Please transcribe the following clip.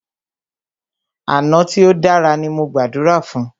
Àná tí o dára ní mo gbàdúrà fún.